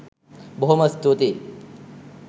බොහොම ස්තූතියි